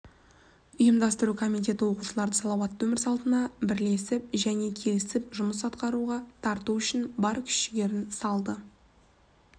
ұйымдастыру комитеті оқушыларды салауатты өмір салтына білесіп және келісіп жұмыс атқаруға тарту үшін бар күш-жігерін салды